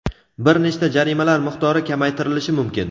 bir nechta jarimalar miqdori kamaytirilishi mumkin.